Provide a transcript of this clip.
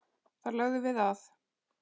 Þar lögðum við að.